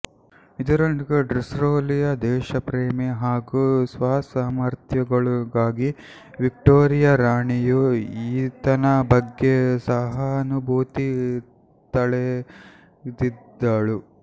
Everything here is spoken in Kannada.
ಇದರೊಂದಿಗೆ ಡಿಸ್ರೇಲಿಯ ದೇಶಪ್ರೇಮ ಹಾಗೂ ಸ್ವಸಾಮಥ್ರ್ಯಗಳಿಗಾಗಿ ವಿಕ್ಟೋರಿಯ ರಾಣಿಯೂ ಈತನ ಬಗ್ಗೆ ಸಹಾನುಭೂತಿ ತಳೆದಿದ್ದಳು